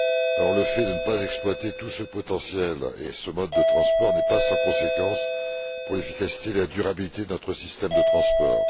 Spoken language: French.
Or le fait de ne pas exploiter tout ce potentiel et ce mode de transport n'est pas sans conséquence pour l'efficacité et la durabilité de notre système de transport.